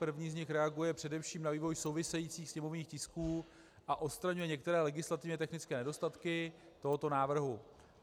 První z nich reaguje především na vývoj souvisejících sněmovních tisků a odstraňuje některé legislativně technické nedostatky tohoto návrhu.